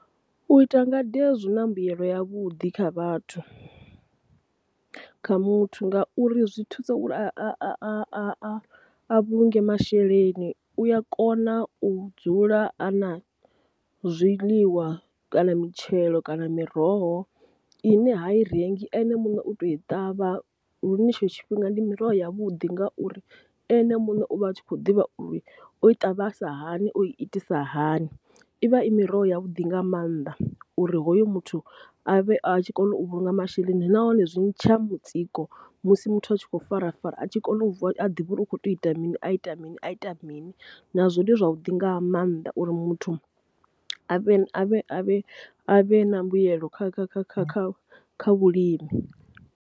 U ita ngade zwi na mbuyelo yavhuḓi kha vhathu kha muthu, ngauri zwi thusa u a a a a vhulunge masheleni u ya kona u dzula a na zwiḽiwa kana mitshelo kana miroho ine ha i rengi ene muṋe u tou i ṱavha lune tshetsho tshifhinga, ndi miroho ya vhuḓi ngauri ene muṋe u vha a tshi kho ḓivha uri o i ṱavhisa hani o i itisa hani i vha i miroho ya vhuḓi nga mannḓa uri hoyo muthu a vhe a tshi kona u vhulunga masheleni. Nahone zwi tsha mutsiko musi muthu a tshi kho farafara a tshi kona u ḓivha uri u kho tea u ita mini a ita mini a ita mini nazwo ndi zwavhuḓi nga maanḓa uri muthu avhe a vhe a vhe a vhe na mbuyelo kha kha kha kha kha kha vhulimi.